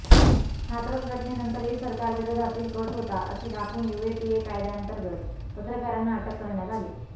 हाथरस घटनेनंतरही सरकारविरोधातील कट होता असे दाखवून यूएपीए कायद्याअंतर्गत पत्रकारांना अटक करण्यात आली